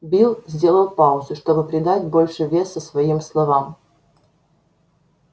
билл сделал паузу чтобы придать больше веса своим словам